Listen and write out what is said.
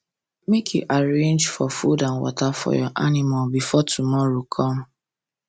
make you arrange for food and water for your animal before tomorow come